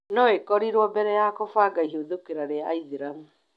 no ĩkorĩrwo mbere ya kũbanga ihĩthũkĩra rĩa aĩthĩramũ